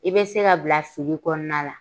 I be se ka bila fili kɔnɔna la.